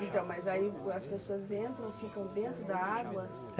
Então, mas aí as pessoas entram, ficam dentro da água?